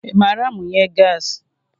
I maara amunye gaasi?